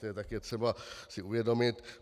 To je také třeba si uvědomit.